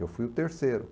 Eu fui o terceiro.